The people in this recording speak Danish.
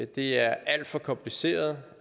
det er alt for kompliceret